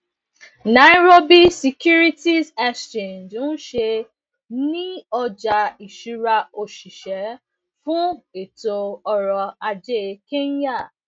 nairobi securities exchange nse ni ọja iṣura osise fun eto oroaje kenya